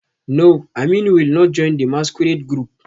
No, Aminu will not join the masquerade group